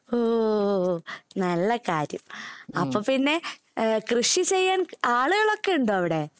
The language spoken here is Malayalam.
ഓ, നല്ലകാര്യം. അപ്പൊ പിന്നെ കൃഷി ചെയ്യാന്‍ ആളുകള്‍ ഒക്കെ ഉണ്ടോ അവിടെ?